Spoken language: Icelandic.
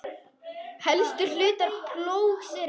Helstu hlutar plógs eru